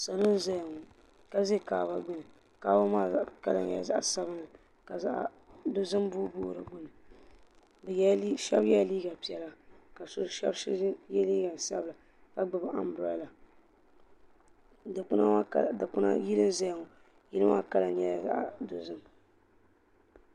Salo n zaya ŋɔ ka za kaaba gbini kaaba maa kala nyɛla zaɣa sabinli ka zaɣa dozim booboogi di gbini sheba yela liiga piɛla ka sheba ye liiga sabila ka gbibi ambrada yili n zaya ŋɔ yili maa kala nyɛla zaɣa dozim .